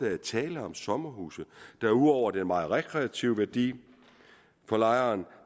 er tale om sommerhuse der ud over den meget rekreative værdi for lejeren